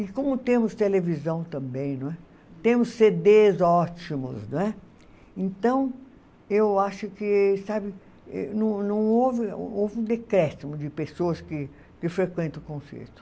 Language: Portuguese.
E como temos televisão também não é , temos cê dê ótimos não é, então eu acho que sabe não não houve um decréscimo de pessoas que frequentam o concerto.